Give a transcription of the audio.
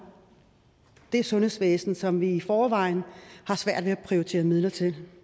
det sundhedsvæsen som vi i forvejen har svært ved at prioritere midler til